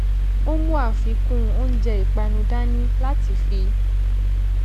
ó mú afikun oúnjẹ ìpánu dání láti fi